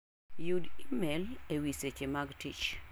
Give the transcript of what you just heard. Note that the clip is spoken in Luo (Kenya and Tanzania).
yud imel ewi seche mag tich.